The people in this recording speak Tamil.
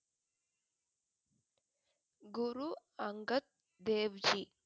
குரு அங்கத் தேவ் ஜி